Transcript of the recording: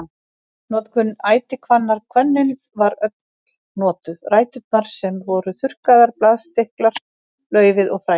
Notkun ætihvannar Hvönnin var öll notuð, ræturnar sem voru þurrkaðar, blaðstilkar, laufið og fræin.